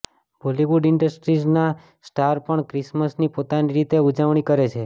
બોલિવૂડ ઇન્ડસ્ટ્રીઝના સ્ટાર્સ પણ ક્રિસમસની પોતાની રીતે ઉજવણી કરે છે